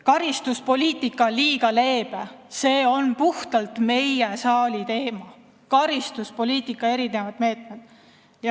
Karistuspoliitika on liiga leebe – karistuspoliitika meetmed on puhtalt selle saali teema.